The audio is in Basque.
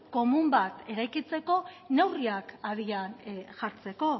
komun bat eraikitzeko neurriak abian jartzeko